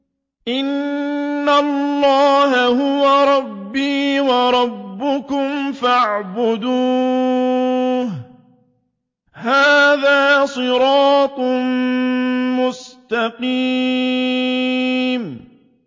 إِنَّ اللَّهَ هُوَ رَبِّي وَرَبُّكُمْ فَاعْبُدُوهُ ۚ هَٰذَا صِرَاطٌ مُّسْتَقِيمٌ